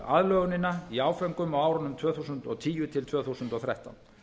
aðlögunina í áföngum á árunum tvö þúsund og tíu til tvö þúsund og þrettán